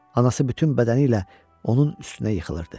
Anası bütün bədəni ilə onun üstünə yıxılırdı.